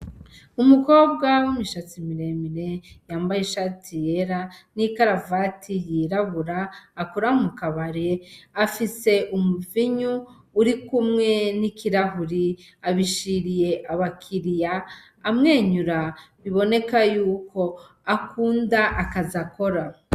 Umukobwa w'imishatsi miremire yambaye ishati yera n'ikaravati yirabura akora mu kabare afise umuvinyu urikumwe n'ikirahuri, abishiriye abakiriya amwenyura biboneka yuko akunda akazi akora.